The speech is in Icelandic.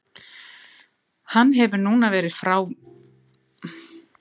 Hann hefur núna verið frá vegna meiðsla í einn og hálfan mánuð.